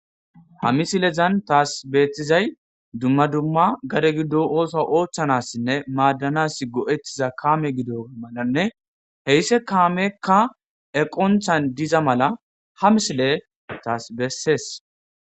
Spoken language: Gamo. Ha misilezan taas beettizay dumma dumma gade giddo ooso oochchanassinne maaddanas go'ettiza kaame gido malanne heysse kaamekka eqonchan diza mala ha misile taas bessees